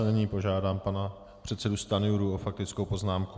A nyní požádám pana předsedu Stanjuru o faktickou poznámku.